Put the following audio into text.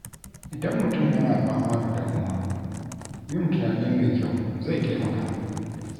Idan mutum yana fama da damuwa, yin tunani mai kyau zai taimaka.